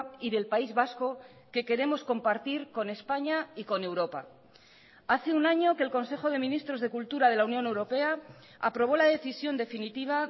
y del país vasco que queremos compartir con españa y con europa hace un año que el consejo de ministros de cultura de la unión europea aprobó la decisión definitiva